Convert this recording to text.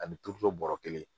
Ani turuto bɔrɔ kelen